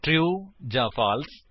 true ਜਾਂ false